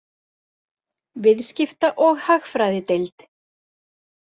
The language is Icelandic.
Viðskipta- og hagfræðideild.